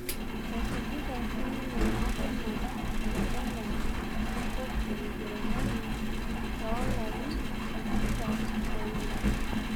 Esujita sinye asenal oladalani lenkop e ujerumani loo larin tikitam oile